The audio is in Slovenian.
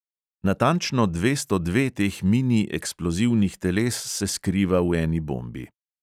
Natančno dvesto dve teh mini eksplozivnih teles se skriva v eni bombi.